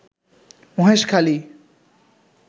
Maheshkhali